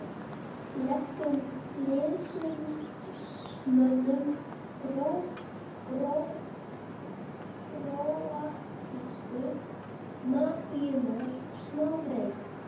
legum liðsmönnum króatísku mafíunnar smá breik?